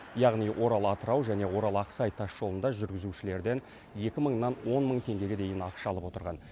яғни орал атырау және орал ақсай тас жолында жүргізушілерден екі мыңнан он мың теңгеге дейін ақша алып отырған